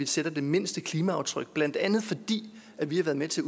sætter det mindste klimaaftryk blandt andet fordi vi har været med til